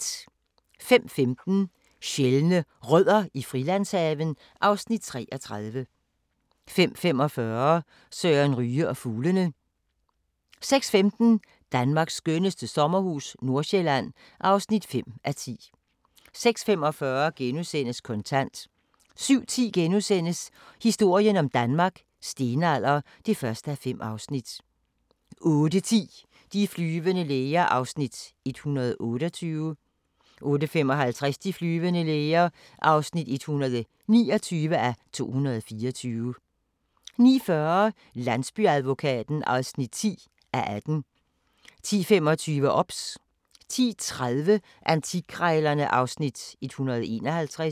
05:15: Sjældne Rødder i Frilandshaven (Afs. 33) 05:45: Søren Ryge og fuglene 06:15: Danmarks skønneste sommerhus - Nordøstsjælland (5:10) 06:45: Kontant * 07:10: Historien om Danmark: Stenalder (1:5)* 08:10: De flyvende læger (128:224) 08:55: De flyvende læger (129:224) 09:40: Landsbyadvokaten (10:18) 10:25: OBS 10:30: Antikkrejlerne (Afs. 151)